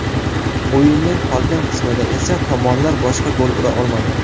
O‘yinning qolgan qismida esa tomonlar boshqa gol ura olmadi.